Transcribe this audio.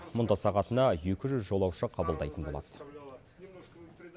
мұнда сағатына екі жүз жолаушы қабылдайтын болады